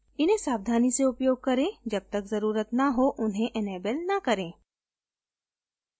इन्हें सावधानी से उपयोग करें जब तक ज़रुरत न हो उन्हें enable न करें